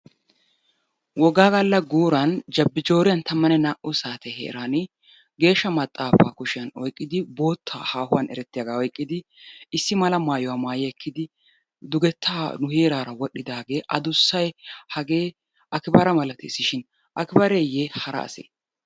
Wogga galla gurani jabbijoriyan tamanne naa'u saatte heeran geeshsha maaxafa kushiyaan oyqqidi boottay haahuwan erettiyagga oyqqidi issimala maayuwaa maayi ekkidi dugetta nu heerara wodhdhidage adussay hagee Akibera malattes shin Akibareye hara ase?